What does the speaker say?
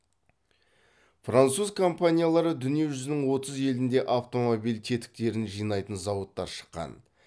француз компаниялары дүние жүзінің отыз елінде автомобиль тетіктерін жинайтын зауыт ашқан